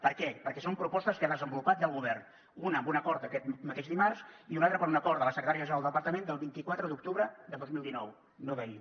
per què perquè són propostes que ha desenvolupat ja el govern una amb un acord aquest mateix dimarts i una altra per un acord de la secretaria general del departament del vint quatre d’octubre de dos mil dinou no d’ahir